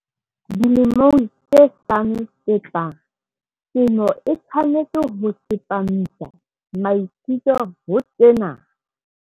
Dilemong tse hlano tse tlang, temo e tshwanetse ho tsepamisa maikutlo ho tsena.